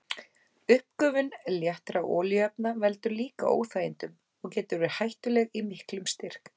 Uppgufun léttra olíuefna veldur líka óþægindum og getur verið hættuleg í miklum styrk.